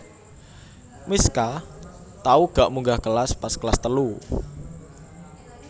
Mischa tau gak munggah kelas pas kelas telu